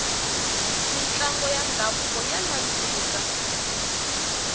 mintlango ya ndhavuko ya nandzika